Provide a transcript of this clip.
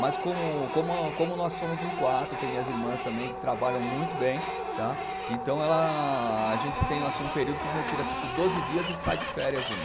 Mas como como a, como nós somos em quatro, tem minhas irmãs também que trabalham muito bem, tá, então a a gente tem assim um período que eles retira tipo doze dias e sai de férias um.